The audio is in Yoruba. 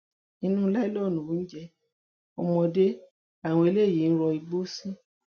inú láìlóònù oúnjẹ ọmọdé làwọn eléyìí rọ igbó sí